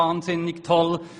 Dieser ist nicht so toll.